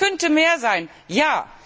nein. Es könnte mehr sein,